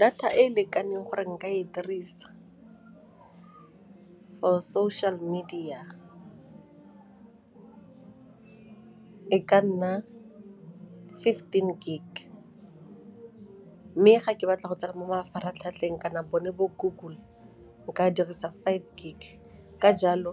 Data e e lekaneng gore nka e dirisa for social media e ka nna fifteen gig mme ga ke batla go tsena mo mafaratlhatlheng kana bone bo Google nka dirisa five gig ka jalo